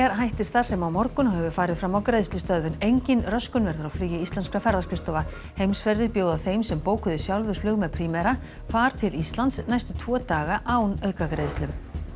hættir starfsemi á morgun og hefur farið fram á greiðslustöðvun engin röskun verður á flugi íslenskra ferðaskrifstofa Heimsferðir bjóða þeim sem bókuðu sjálfir flug með Primera far til Íslands næstu tvo daga án aukagreiðslu